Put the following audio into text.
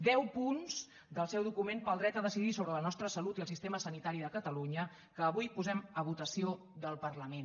deu punts del seu document per al dret a decidir sobre la nostra salut i el sistema sanitari de catalunya que avui posem a votació del parlament